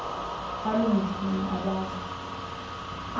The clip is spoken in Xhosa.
baloo ngingqi abaza